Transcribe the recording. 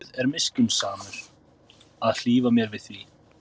Guð er miskunnsamur að hlífa mér við því.